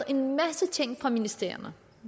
en masse ting fra ministerierne